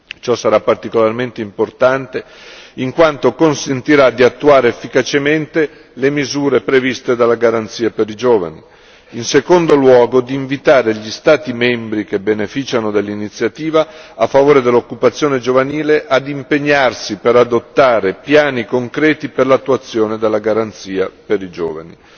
Ciò sarà particolarmente importante in quanto consentirà di attuare efficacemente le misure previste dalla garanzia per i giovani e in secondo luogo di invitare gli Stati membri che beneficiano dell'iniziativa a favore dell'occupazione giovanile ad impegnarsi per adottare piani concreti per l'attuazione della garanzia per i giovani.